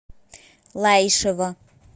лаишево